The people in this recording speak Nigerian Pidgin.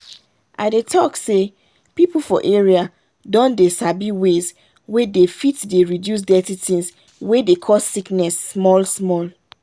i dey talk say people for area don dey sabi ways wey they fit dey reduce dirty things wey dey cause sickness small small.